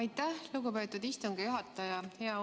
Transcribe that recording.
Aitäh, lugupeetud istungi juhataja!